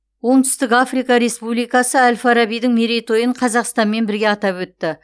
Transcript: оңтүстік африка республикасы әл фарабидің мерейтойын қазақстанмен бірге атап өтті